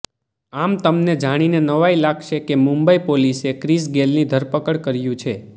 આમ તમને જાણીને નવાઈ લાગશે કે મુંબઈ પોલીસે ક્રિસ ગેલની ધડપકડ કર્યું છે